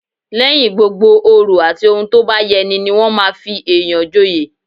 Lẹ́yìn gbogbo òrò àti ohun tó bá yẹ ní ní wọn máa fi èyàn joyè